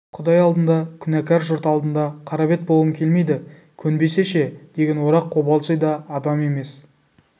құдай алдында күнәкар жұрт алдында қарабет болғым келмейді көнбесе ше деген орақ қобалжи да адам емес